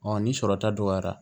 ni sɔrɔ ta dɔgɔyara